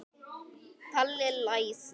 Palli læsir.